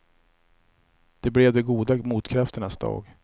Det blev de goda motkrafternas dag.